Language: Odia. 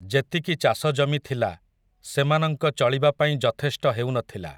ଯେତିକି ଚାଷଜମି ଥିଲା, ସେମାନଙ୍କ ଚଳିବାପାଇଁ ଯଥେଷ୍ଟ ହେଉ ନ ଥିଲା ।